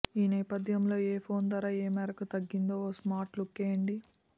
ఈ నేపథ్యంలో ఏ ఫోన్ ధర ఏ మేరకు తగ్గిందో ఓ స్మార్ట్ లుక్కేయండి